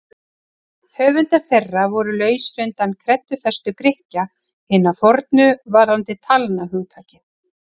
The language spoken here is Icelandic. Höfundar þeirra voru lausir undan kreddufestu Grikkja hinna fornu varðandi talnahugtakið.